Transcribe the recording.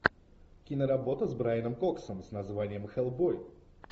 киноработа с брайаном коксом с названием хеллбой